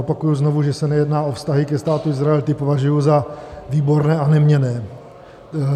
Opakuji znovu, že se nejedná o vztahy ke Státu Izrael, ty považuji za výborné a neměnné.